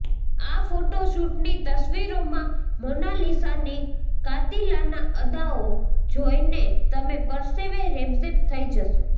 આ ફોટોશૂટની તસ્વીરોમાં મોનાલિસાની કાતિલાના અદાઓ જોઈને તમે પરસેવે રેબઝેબ થઈ જશો